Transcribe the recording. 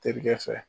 Terikɛ fɛ